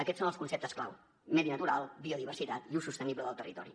aquests són els conceptes clau medi natural biodiversitat i ús sostenible del territori